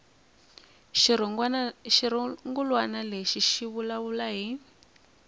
xirungulwana lexi xi vulavula hi